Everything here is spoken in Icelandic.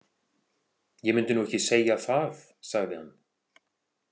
Ég mundi nú ekki segja það, sagði hann.